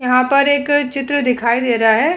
यहाँ पर एक चित्र दिखाई दे रहा है।